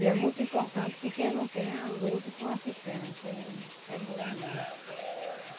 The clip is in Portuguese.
E é muito importante que quem não tem, lute por uma cisterna, que é é bom demais.